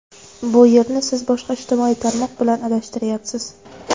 Bu yerni siz boshqa ijtimoiy tarmoq bilan adashtiryapsiz.